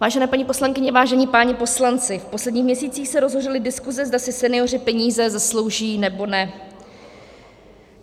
Vážené paní poslankyně, vážení páni poslanci, v posledních měsících se rozhořely diskuse, zda si senioři peníze zaslouží, nebo ne.